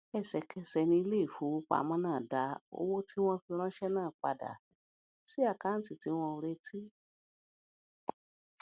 ẹsèkẹsè ni ilé ìfowópamó náà dá owó tí wón fi ránṣé náà padà sí àkáǹtì tí wọn ò retí